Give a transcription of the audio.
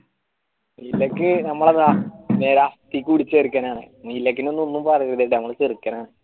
ഇതൊക്ക് നമ്മളതാ ഒന്നും പറയൂല നമ്മളെ ചെറുക്കാനാണ്